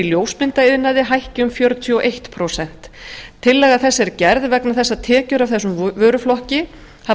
ljósmyndaiðnaði hækki um fjörutíu og eitt prósent tillaga þessi er gerð vegna þess að tekjur af þessum vöruflokki hafa